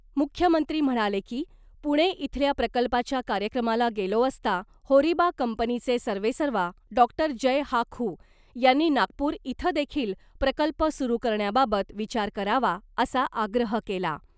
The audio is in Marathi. मुख्यमंत्री म्हणाले की , पुणे इथल्या प्रकल्पाच्या कार्यक्रमाला गेलो असता होरिबा कंपनीचे सर्वेसर्वा डॉ जय हाखू यांनी नागपूर इथं देखील प्रकल्प सुरू करण्याबाबत विचार करावा , असा आग्रह केला .